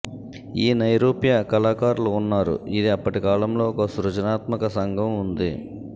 ఈ నైరూప్య కళాకారులు ఉన్నారు ఇది అప్పటికాలంలో ఒక సృజనాత్మక సంఘం ఉంది